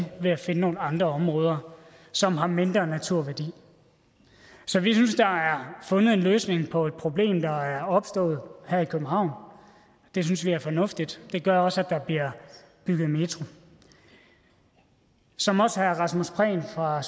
ved at finde nogle andre områder som har mindre naturværdi så vi synes der er fundet en løsning på et problem der er opstået her i københavn og det synes vi er fornuftigt det gør også at der bliver bygget metro som også herre rasmus prehn fra